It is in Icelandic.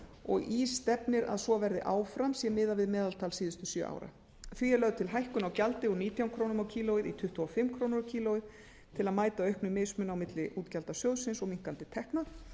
og í stefnir að svo verði áfram sé miðað við meðaltal síðustu sjö ára því er lögð til hækkun á gjaldi úr nítján krónu kílógrömm til að mæta auknum mismun á milli útgjalda sjóðsins og minnkandi tekna